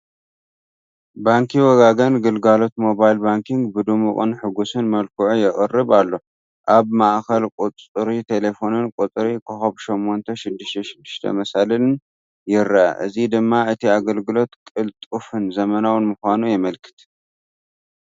ባንኪ ወጋገን ግልጋሎት ሞባይል ባንኪ ብድሙቕን ሕጉስን መልክዑ የቕርብ ኣሎ። ኣብ ማእኸል ቁፅሪ ተሌፎንን ቁፅሪ *866#ን ይርአ፣ እዚ ድማ እቲ ኣገልግሎት ቅልጡፍን ዘመናውን ምዃኑ የመልክት።